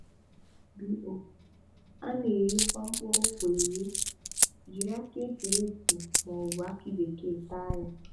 bo: A na-eghekwa mkpụrụ ụ́kwà eghe, jiri akị e tiri eti maọbụ akị bekee taa ya.